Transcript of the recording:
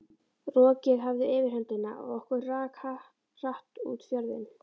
Rokið hafði yfirhöndina og okkur rak hratt út fjörðinn.